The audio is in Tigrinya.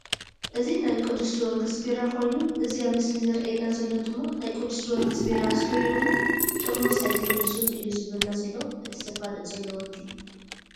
እዚ ናይ ቁዱስ ጀወርግስ ቢራ ኮይኑ እዚ ኣብ ምስሊ ዘርእየና ዘሎ ድማ ናይ ቁዱስ ጀወርግድ ቢራ ስተዩ እሞ ጥርሙዝ ኣይትመልሱን እዩ ዝብለና ዘሎ እቲ ዘፋልጥ ዘሎ ወዲ።